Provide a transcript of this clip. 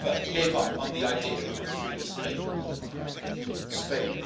He never gave up on the idea of a free Spain and a democratic Spain.